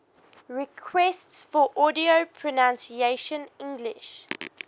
requests for audio pronunciation english